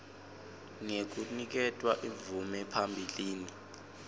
ngekuniketwa imvume phambilini